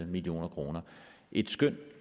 million kroner et skøn